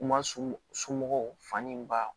U ma sunɔgɔ fani in ba